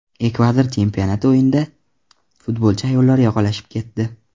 Ekvador chempionati o‘yinida futbolchi ayollar yoqalashib ketdi.